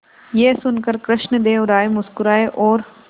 यह सुनकर कृष्णदेव राय मुस्कुराए और